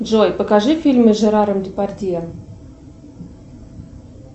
джой покажи фильмы с жераром депардье